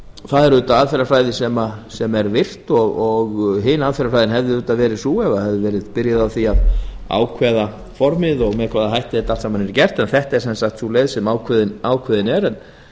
það er virt aðferðafræði en hin aðferðin hefði verið sú að byrjað hefði verið á því að ákveða formið og með hvaða hætti þetta yrði allt saman gert en þetta er sú leið sem ákveðin er